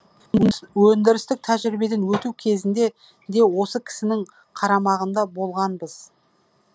өндірістік тәжірибеден өту кезінде де осы кісінің қарамағында болғанбыз